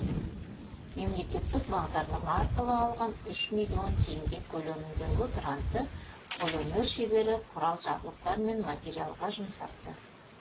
мемлекеттік бағдарлама арқылы алған үш миллион теңге көлеміндегі грантты қолөнер шебері құрал жабдықтар мен материалға жұмсапты